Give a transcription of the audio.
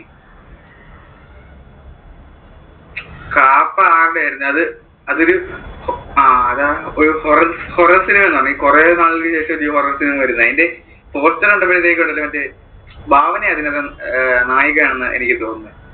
കാപ്പ ആരുടെ ആയിരുന്നു? അത് അതൊരു അഹ് horror ഈ കുറെ നാളുകൾക്ക് ശേഷം ആണ് ഈ horror cinema വരുന്നേ അതിന്‍റെ poster കണ്ടപ്പോഴത്തേക്കും ഉണ്ടല്ലോ മറ്റേ ഭാവനയാ അതിലെ നായിക ആണെന്ന് എനിക്ക് തോന്നുന്നേ.